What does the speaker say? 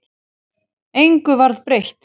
Engu varð breytt.